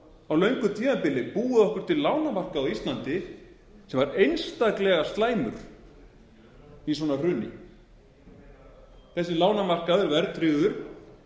á löngu tímabili búið okkur til lánamarkað á íslandi sem var einstaklega slæmur í svona hruni þessi lánamarkaður verðtryggður